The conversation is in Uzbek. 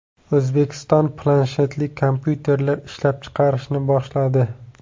O‘zbekiston planshetli kompyuterlar ishlab chiqarishni boshladi.